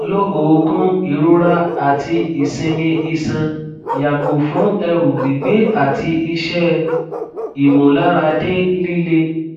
lo oogun irora ati isimi isan yago fun eru gbigbe ati ise imularade lile